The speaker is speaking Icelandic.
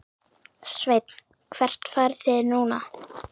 Sveinn: Hvert farið þið núna?